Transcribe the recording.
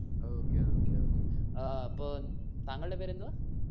okay okay okay ഏർ അപ്പോ താങ്കൾടെ പേരെന്തുവാ?